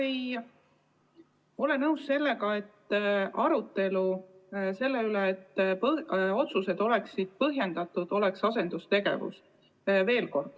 Ma ei ole nõus sellega, et arutelu otsuste põhjendatuse tagamiseks oleks asendustegevus.